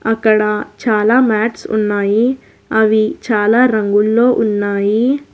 అక్కడ చాలా మాట్స్ ఉన్నాయి అవి చాలా రంగుల్లో ఉన్నాయి.